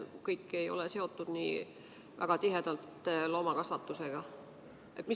Kõik ei ole nii väga tihedalt loomakasvatusega seotud.